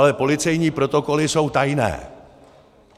Ale policejní protokoly jsou tajné.